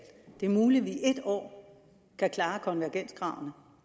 det er muligt at vi i et år kan klare konvergenskravene